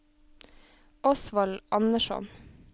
Osvald Andersson